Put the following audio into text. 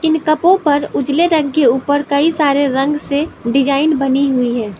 इन कपो पर उजले रंग के ऊपर कई सारे रंग से डिजाइन बनी हुई है।